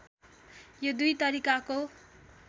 यो दुई तरिकाको